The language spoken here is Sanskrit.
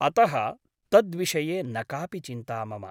अतः तद्विषये न कापि चिन्ता मम ।